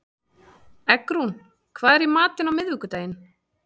Eggrún, hvað er í matinn á miðvikudaginn?